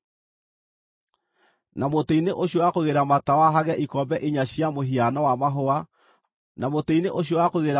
Na mũtĩ-inĩ ũcio wa kũigĩrĩra matawa hagĩe ikombe inya cia mũhiano wa mahũa ma mũrothi irĩ na tũkonyo na mahũa.